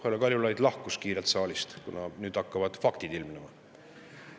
Härra Kaljulaid lahkus kiirelt saalist, kuna nüüd hakkavad faktid ilmnema.